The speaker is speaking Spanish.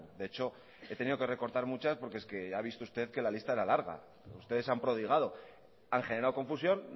de hecho he tenido que recortar muchas porque es que ya ha visto usted que la lista era larga ustedes se han prodigado han generado confusión